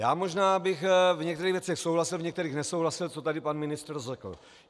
Já možná bych v některých věcech souhlasil, v některých nesouhlasil, co tady pan ministr řekl.